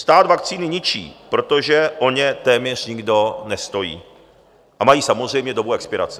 Stát vakcíny ničí, protože o ně téměř nikdo nestojí, a mají samozřejmě dobu expirace.